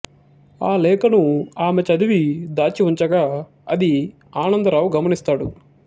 ఆ లేఖను ఆమె చదివి దాచివుంచగా అది ఆనందరావు గమనిస్తాడు